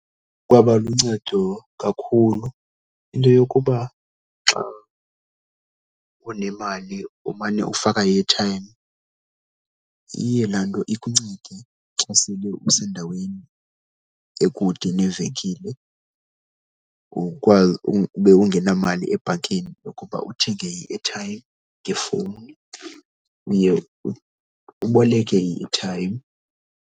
Kwaba luncedo kakhulu into yokuba xa unemali umane ufaka i-airtime. Iye laa nto ikuncede xa sele usendaweni ekude nevenkile ukwazi ube ungenamali ebhankini yokuba uthenge i-airtime ngefowuni, uye uboleke i-airtime.